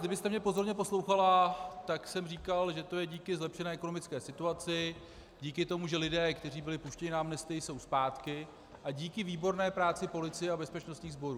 Kdybyste mě pozorně poslouchala, tak jsem říkal, že to je díky zlepšené ekonomické situaci, díky tomu, že lidé, kteří byli puštěni na amnestii, jsou zpátky, a díky výborné práci policie a bezpečnostních sborů.